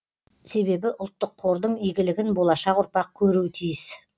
себебі ұлттық қордың игілігін болашақ ұрпақ көруі тиіс